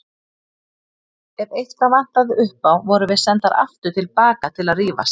Ef eitthvað vantaði upp á vorum við sendar aftur til baka til að rífast.